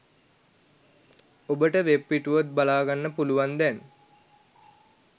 ඔබට වෙබ්පිටුව බලාගන්න පුළුවන් දැන්.